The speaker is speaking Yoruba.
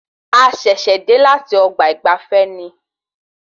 A ṣẹ̀ṣẹ̀ dé láti ọgbà ìgbafé ni